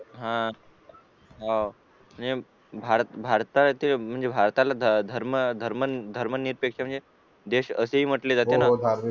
हॊ भारताला धर्म निरपेक्षित देश अशे म्हटले जाते